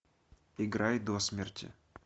играй до смерти